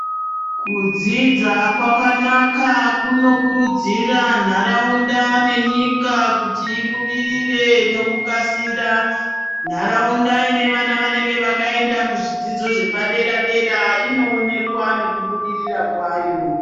Kudzidza kwakanaka kunokurudzira nharaunda nenyika kuti ibudirire nokukasira. Nharaunda ine vana vnenge vakaenda kuzvidzidzo zvepadera dera inoonekwa nekubudirira kwayo.